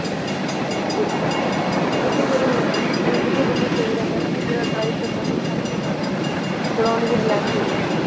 ਫ਼ੇਰ ਕਿਉਂਕਿ ਫ਼ੇਰ ਰੁੱਕ ਕੇ ਬੰਦਾ ਸਹੀਂ ਰਹਿੰਦਾ ਨਾ ਜਿਹੜਾ drive ਕਰਦਾ ਏ ਉਹ ਥੱਕ ਜਾਂਦਾ ਏ ਬੰਦਾ ਫ਼ਿਰ ਉਹਨੂੰ ਵੀ relax ਮਿਲ ਹੋ ਜਾਂਦਾ ਏ